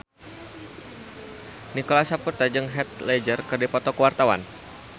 Nicholas Saputra jeung Heath Ledger keur dipoto ku wartawan